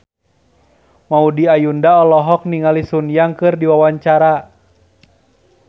Maudy Ayunda olohok ningali Sun Yang keur diwawancara